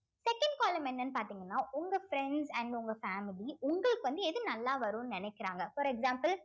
second column என்னன்னு பார்த்தீங்கன்னா உங்க friends and உங்க family உங்களுக்கு வந்து எது நல்லா வரும்ன்னு நினைக்கிறாங்க for example